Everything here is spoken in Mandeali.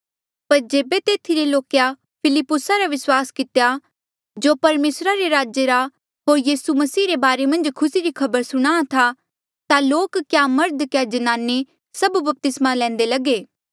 पर जेबे तेथी रे लोके फिलिप्पुसा रा विस्वास कितेया जो परमेसरा रा राजा रा होर यीसू मसीह रे बारे मन्झ खुसी री खबर सुणाहां था ता लोक क्या मर्ध क्या ज्नाने सब बपतिस्मा लैंदे लगे